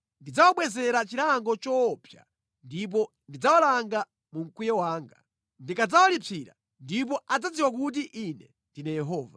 Ndidzawabwezera chilango choopsa ndipo ndidzawalanga mu mkwiyo wanga. Ndikadzawalipsira ndipo adzadziwa kuti Ine ndine Yehova.’ ”